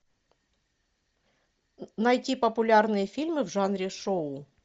найти популярные фильмы в жанре шоу